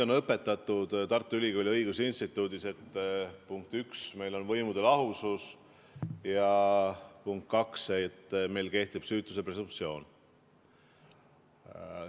Mind õpetati Tartu Ülikooli õigusinstituudis, punkt üks, et meil on võimude lahusus, ja punkt kaks, meil kehtib süütuse presumptsioon.